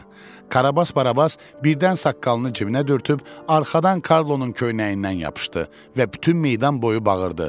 Karabas Barabas birdən saqqalını cibinə dürtüb, arxadan Karlonun köynəyindən yapışdı və bütün meydan boyu bağırdı.